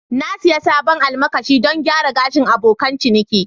Na sayi sabon almakashi don gyara gashin abokan ciniki